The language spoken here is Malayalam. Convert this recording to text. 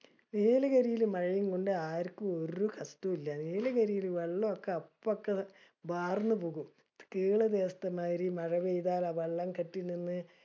നീലഗിരിലെ മഴേംകൊണ്ട് ആർക്കും ഒരു കഷ്ഠവും ഇല്യ. നീലഗിരില് വെള്ളൊക്കെ അപ്പോക്ക്വാർന്ന് പോകും. തീരദേശത്ത് മായിരി മഴപെയ്ത ആ വെള്ളം കെട്ടിനിന്ന്